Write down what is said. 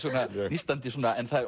nístandi en